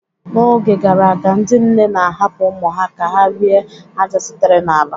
N'oge gara aga, ndị nne na-ahapụ ụmụ ha ka ha rie ájá sitere n'ala.